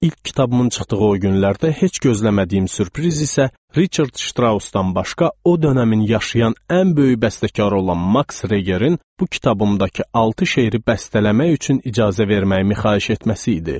İlk kitabımmın çıxdığı o günlərdə heç gözləmədiyim sürpriz isə Riçard Ştrausdan başqa o dönəmin yaşayan ən böyük bəstəkarı olan Maks Regerin bu kitabımdakı altı şeiri bəstələmək üçün icazə verməyimi xahiş etməsi idi.